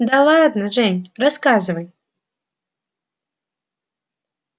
да ладно жень рассказывай